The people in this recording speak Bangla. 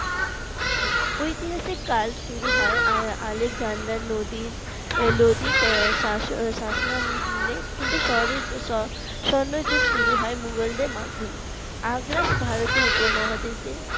ঐতিহাসিক কাল শুরু হয় আহ আলেকজান্ডার নদীর লোদির শাসন আমলের কিন্তু শহরের স স্বর্ণযুগ শুরু হয় মুঘলদের মাধ্যমে আগরা ভারতীয় উপমহাদেশে